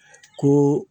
Ko